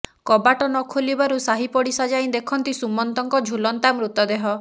କବାଟ ନଖୋଲିବାରୁ ସାହି ପଡ଼ିଶ ଯାଇ ଦେଖନ୍ତି ସୁମନ୍ତଙ୍କ ଝୁଲନ୍ତା ମୃତଦେହ